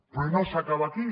però no s’acaba aquí